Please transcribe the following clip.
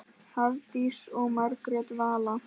Hafdís og Margrét Vala.